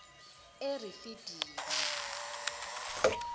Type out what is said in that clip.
erifidini